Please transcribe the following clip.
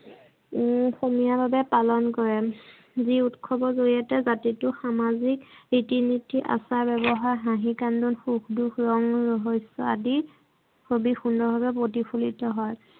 সমিয় ভাবে পালন কৰে। যি উৎসৱৰ জৰিয়তে জাতিতোৰ সামাজিক ৰিতি নিতি, আচাৰ ব্যৱহাৰ, হাঁহি কান্দোন, সুখ দুখ, ৰং ৰহস্য আদি অতি সুন্দৰ ভবে প্ৰতিফলিত হয়।